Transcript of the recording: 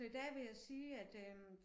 Så i dag vil jeg sige at øh